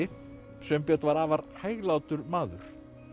Sveinbjörn var afar hæglátur maður en